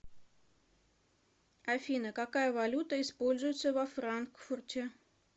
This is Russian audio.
афина какая валюта используется во франкфурте